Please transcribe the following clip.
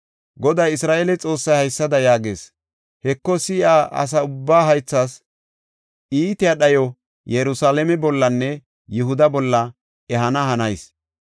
Goday, Isra7eele Xoossay haysada yaagees; ‘Heko, si7iya asa ubbaa haythas iitiya dhayo Yerusalaame bollanne Yihuda bolla ehana hanayis.